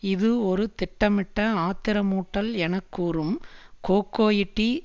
இது ஒரு திட்டமிட்ட ஆத்திரமூட்டல் என கூறும் கொகோய்ட்டி